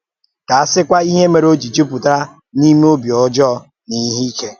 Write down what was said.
Kà a sị́kwà, ìhè mèrè ó jì jùpùtà n’ímé ọ̀bì ọ́jọọ na ìhè ike